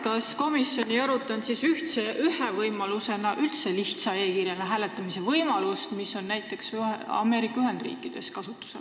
Kas komisjon ei arutanud ühe võimalusena üldse lihtsa e-kirjaga hääletamise võimalust, mis on kasutusel näiteks Ameerika Ühendriikides?